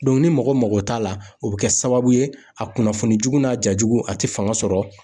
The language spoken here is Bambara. ni mɔgɔ mago t'a la, o bɛ kɛ sababu ye a kunnafoni jugu n'a ja jugu a tɛ fanga sɔrɔ